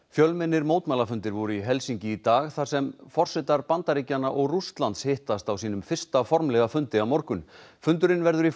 fjölmennir mótmælafundir voru í Helsinki í dag þar sem forsetar Bandaríkjanna og Rússlands hittast á sínum fyrsta formlega fundi á morgun fundurinn verður í